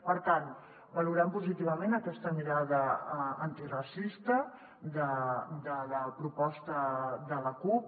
per tant valorem positivament aquesta mirada antiracista de la proposta de la cup